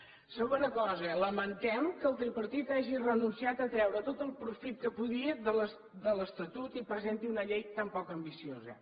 segona cosa lamentem que el tripartit hagi renunciat a treure tot el profit que podia de l’estatut i que presenti una llei tan poc ambiciosa